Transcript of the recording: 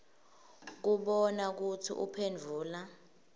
kubona kutsi uphendvula